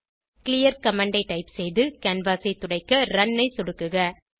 clear command ஐ type செய்து canvas ஐ துடைக்க ரன் ஐ சொடுக்குக